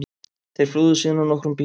Þeir flúðu síðan á nokkrum bílum